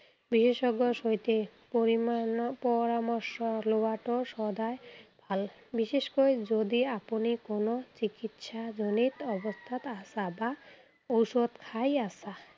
বিশেষজ্ঞৰ সৈতে পৰিমানৰ পৰামৰ্শ লোৱাটো সদায় ভাল। বিশেষকৈ যদি আপুনি কোনো চিকিৎসাজনিত অৱস্থাত আছা বা ঔষধ খাই আছা।